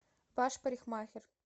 ваш парикмахер